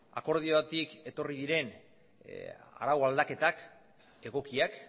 akordiotik etorri diren arau aldaketak egokiak